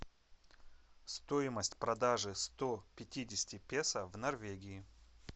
стоимость продажи сто пятидесяти песо в норвегии